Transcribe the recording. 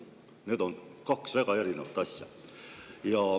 Need on kaks väga erinevat asja.